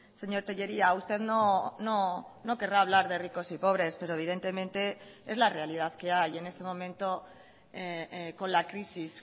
señor tellería usted no querrá hablar de ricos y pobres pero evidentemente es la realidad que hay en este momento con la crisis